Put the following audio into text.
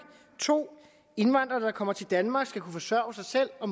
2 at indvandrere der kommer til danmark skal kunne forsørge sig selv og